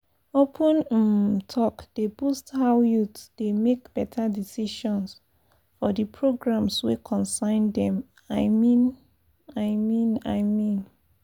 open um talk dey boost how youths dey make better decisions for di programs wey concern dem i mean i mean i mean.